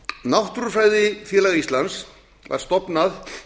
náttúrufræðifélag íslands var stofnað